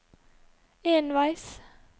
enveis